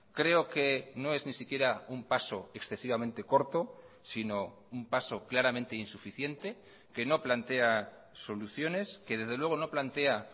creo que no es ni siquiera un paso excesivamente corto sino un paso claramente insuficiente que no plantea soluciones que desde luego no plantea